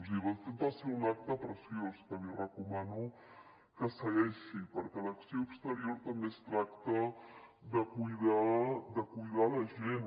i de fet va ser un acte preciós que li recomano que segueixi perquè a l’acció exterior també es tracta de cuidar la gent